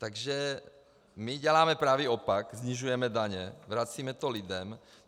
Takže my děláme pravý opak, snižujeme daně, vracíme to lidem.